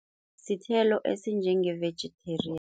Sithelo esinjenge-vegetarian.